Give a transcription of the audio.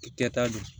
Kɛta don